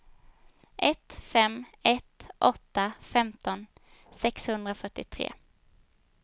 ett fem ett åtta femton sexhundrafyrtiotre